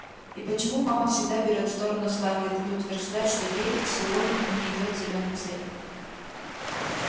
и почему мама всегда берёт сторону скарлетт и утверждает что ей сыолин не идёт зелёный цвет